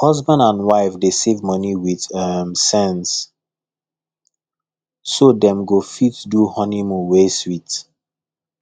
husband and wife dey save money with um sense so dem go fit do honeymoon wey sweet